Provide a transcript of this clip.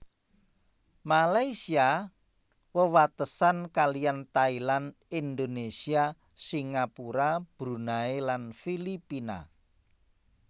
Malaysia wewatesan kaliyan Thailand Indonésia Singapura Brunei lan Filipina